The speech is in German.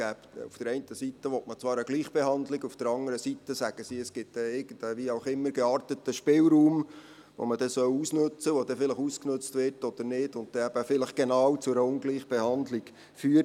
Auf der einen Seite will man zwar eine Gleichbehandlung, auf der anderen Seite sagen Sie, es gebe einen wie auch immer gearteten Spielraum, den man ausnutzen soll und der vielleicht ausgenützt wird oder nicht, der dann vielleicht genau zu einer Ungleichbehandlung führt.